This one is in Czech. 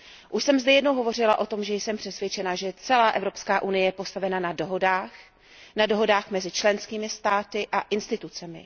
Už jsem zde jednou hovořila o tom, že jsem přesvědčena, že celá Evropská unie je postavena na dohodách, na dohodách mezi členskými státy a institucemi.